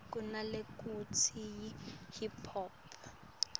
kunalekutsiwa yi hip hop